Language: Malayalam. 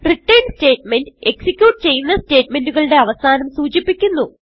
റിട്ടർൻ സ്റ്റേറ്റ്മെന്റ് എക്സിക്യൂട്ട് ചെയ്യുന്ന സ്റ്റേറ്റ്മെന്റ് കളുടെ അവസാനം സൂചിപ്പിക്കുന്നു